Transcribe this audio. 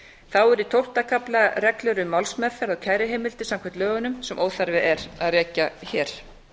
þá er í tólfta kafla reglur um málsmeðferð og kæruheimildir samkvæmt lögunum sem óþarfi er að rekja hér